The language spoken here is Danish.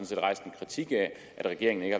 set rejst en kritik af at regeringen ikke